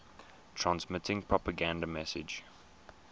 transmitting propaganda messages